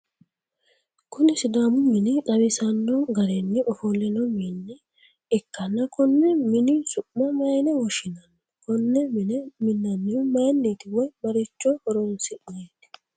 kuni sidaamu mine xawisanno garinni ofo'lino mine ikkanna konni mini su'ma mayiine woshshinanni? konne mine minnannihu mayiinniiti woy maricho horonsi'neeti?